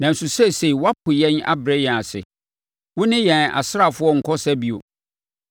Nanso seesei woapo yɛn abrɛ yɛn ase; wone yɛn asraafoɔ nnkɔ ɔsa bio.